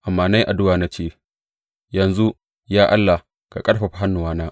Amma na yi addu’a na ce, Yanzu, ya Allah, ka ƙarfafa hannuwana.